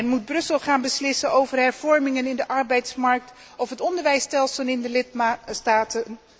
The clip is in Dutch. Moet Brussel gaan beslissen over hervormingen op de arbeidsmarkt of in het onderwijsstelsel in de lidstaten?